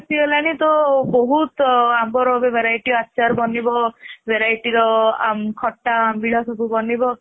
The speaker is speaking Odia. ଆସିଗଲାଣି ତ ବହୁତ ଆମ୍ବର variety ର ଆଚାର ବନିବ varietyର ଖଟା ଆମ୍ବିଳା ସବୁ ବନିବ